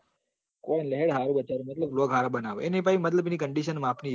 મનર હરો બચારો blocg હારા બનાવે એની condition માપની હ